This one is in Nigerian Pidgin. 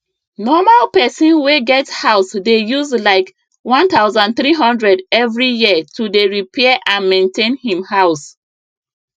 normal person wey get house dey use like 1300 every year to dey repair and maintain him house